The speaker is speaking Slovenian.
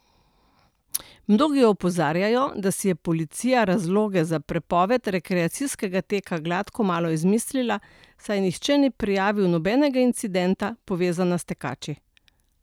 Mnogi opozarjajo, da si je policija razloge za prepoved rekreacijskega teka gladko malo izmislila, saj nihče ni prijavil nobenega incidenta, povezanega s tekači.